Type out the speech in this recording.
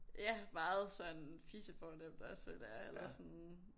Ja meget sådan fisefornemt også føler jeg eller sådan